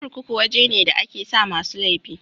Kurkuku waje ne da a ke sa masu laifi